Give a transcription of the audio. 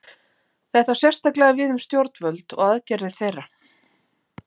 Þetta á sérstaklega við um stjórnvöld og aðgerðir þeirra.